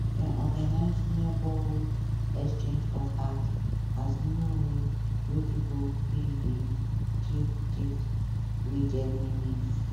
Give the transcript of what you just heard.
dem organize neighborhood exchange of art as new way wey pipo fit dey give gift wey get meaning